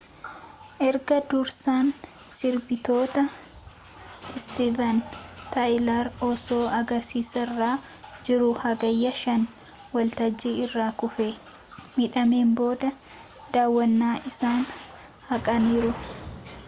erga dursaan sirbitootaa istiiven taayilar osoo agarsiisarra jiruu hagayya 5 waltajjii irraa kufee midhaameen booda daawwannaa isaanii haqaniiru